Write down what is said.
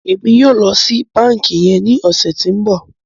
Emi yóò ló sì bánkì yén ní ọsẹ tí ń bó.